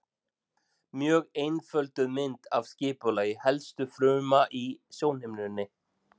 Mjög einfölduð mynd af skipulagi helstu fruma í sjónhimnunni.